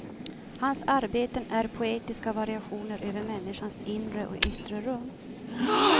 Hans arbeten är poetiska variationer över människans inre och yttre rum.